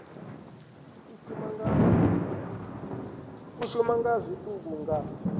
u shuma nga zwiṱuku nga